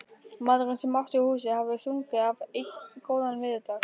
Maðurinn sem átti húsið hafði stungið af einn góðan veðurdag.